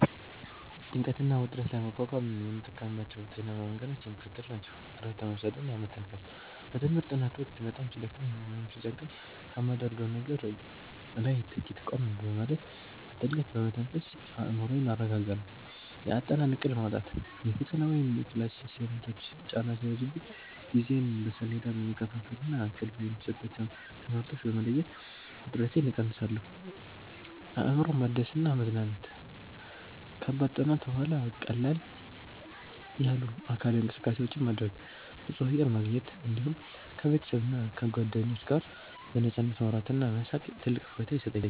ጭንቀትና ውጥረትን ለመቋቋም የምጠቀምባቸው ጤናማ መንገዶች የሚከተሉት ናቸው፦ እረፍት መውሰድና መተንፈስ፦ በትምህርት ጥናት ወቅት በጣም ሲደክመኝ ወይም ሲጨንቀኝ ከማደርገው ነገር ላይ ጥቂት ቆም በማለት፣ በጥልቀት በመተንፈስ አእምሮዬን አረጋጋለሁ። የአጠናን እቅድ ማውጣት፦ የፈተና ወይም የክላስ አሳይመንቶች ጫና ሲበዙብኝ ጊዜዬን በሰሌዳ በመከፋፈልና ቅድሚያ የሚሰጣቸውን ትምህርቶች በመለየት ውጥረቴን እቀንሳለሁ። አእምሮን ማደስና መዝናናት፦ ከከባድ ጥናት በኋላ ቀለል ያሉ አካላዊ እንቅስቃሴዎችን ማድረግ፣ ንጹህ አየር ማግኘት፣ እንዲሁም ከቤተሰብና ከጓደኞች ጋር በነፃነት ማውራትና መሳቅ ትልቅ እፎይታ ይሰጠኛል።